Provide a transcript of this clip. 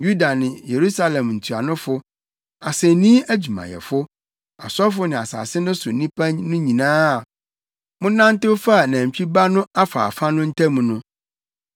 Yuda ne Yerusalem ntuanofo, asennii adwumayɛfo, asɔfo ne asase no so nnipa no nyinaa a monantew faa nantwi ba no afaafa no ntam no,